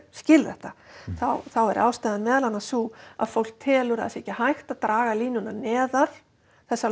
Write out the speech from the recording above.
skil þetta þá er ástæðan meðal annars sú að fólk telur að það sé ekki hægt að draga línuna neðar þessa